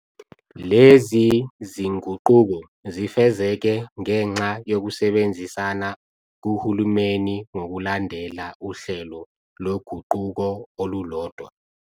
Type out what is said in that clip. Lezi zinguquko zifezeke ngenxa yokusebenzisana kuhulumeni ngokulandela uhlelo loguquko olulodwa.